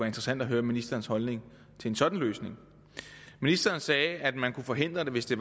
interessant at høre ministerens holdning til sådan en løsning ministeren sagde at man kunne forhindre det hvis det